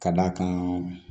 Ka d'a kan